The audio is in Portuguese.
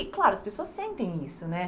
E, claro, as pessoas sentem isso, né?